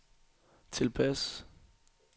tilpas